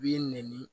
B'i nɛni